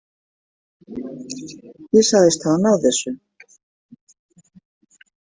Ég sagðist hafa náð þessu.